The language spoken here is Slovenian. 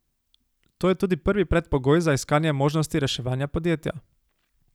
To je tudi prvi predpogoj za iskanje možnosti reševanja podjetja.